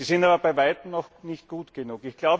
Sie sind aber bei weitem noch nicht gut genug.